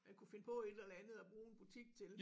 Man kunne finde på et eller andet at bruge en butik til